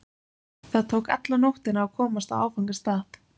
Það tók alla nóttina að komast á áfangastað.